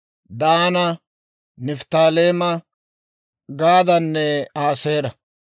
Daana, Nifttaaleema, Gaadanne Aaseera.